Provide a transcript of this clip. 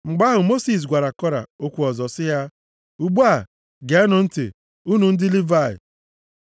Mgbe ahụ, Mosis gwakwara Kora okwu ọzọ sị ya, “Ugbu a, geenụ ntị, unu ndị Livayị!